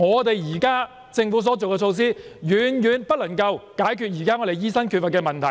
即是說，政府現時所推行的措施遠遠未能解決目前醫生不足的問題。